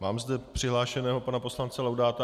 Mám zde přihlášeného pana poslance Laudáta.